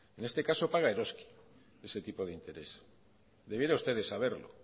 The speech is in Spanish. en este caso paga eroski ese tipo de interés debiera usted de saberlo